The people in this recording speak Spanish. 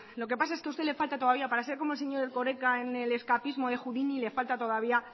lo que pasa es que a usted le falta todavía para ser como el señor erkoreka en el escapismo de houdini le falta todavía